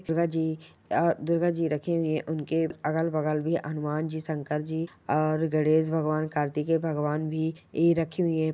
दुर्गा जी आ दुर्गा जी रखी हुई हैं उनके अगल-बगल भी हनुमान जी शंकर जी और गणेश भगवान कार्तिकेय भगवान भी यही रखी हुई है।